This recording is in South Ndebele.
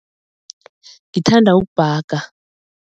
Ngithanda ukubhaga.